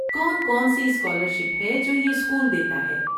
کون کون سی اسکالرشپ ہے جو یہ اسکول دیتا ہے؟